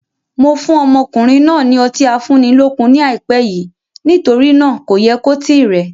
Mo fún ọmọkùnrin náà ni Ọtí afúnilókun ni ai pẹ́ yìí nítorí náà kò yẹ kó tíì rẹ.